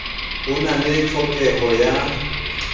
ho na le tlhokeho ya